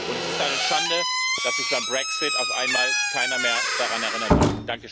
Es ist eine Schande, dass sich beim Brexit auf einmal keiner mehr daran erinnern will.